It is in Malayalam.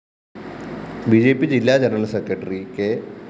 ബി ജെ പി ജില്ലാ ജനറൽ സെക്രട്ടറി കെ